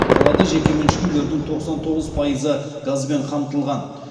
қалада жекеменшік үйлердің тоқсан тоғыз пайызы газбен қамтылған